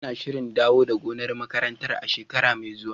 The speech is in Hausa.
Ana shirin dawo da gonar makarantar a shekara mai zuwa.